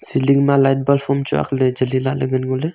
ceiling ma light bulb am chu agley jali lah ley ngan ngo ley.